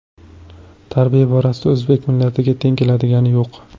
Tarbiya borasida o‘zbek millatiga teng keladigani yo‘q.